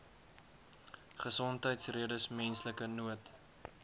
gesondheidsredes menslike nood